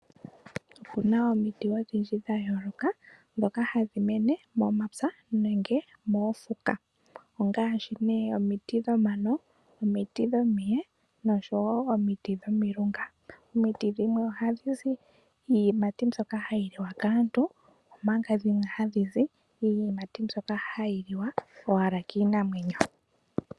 Opuna omiti odhindji ndayooloka dhoka hadhi mene momapya nenge moofuka. Ongaashi ne omiti dhomano, omiti dhomiye noshowo omiti dhomilunga. Omiti dhimwe ohadhizi iiyimati mbyoka hayi liwa kaantu omanga dhimwe hadhizi iiyimati mbyoka hayi liwa owala kiinamwenyo.